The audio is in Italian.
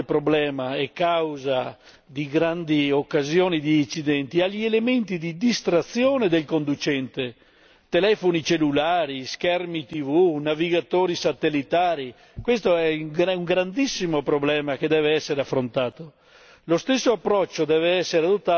Dobbiamo fare attenzione al grande problema e causa di grandi occasioni di incidenti e agli elementi di distrazione del conducente telefoni cellulari, schermi TV, navigatori satellitari questo è il grandissimo problema che deve essere affrontato.